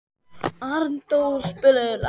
Arndór, spilaðu lag.